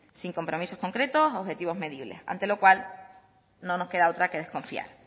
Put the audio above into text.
sin compromisos concretos objetivos medibles ante lo cual no nos queda otra que desconfiar